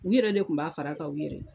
U yɛrɛ de tun b'a fara a kan u yɛrɛ ye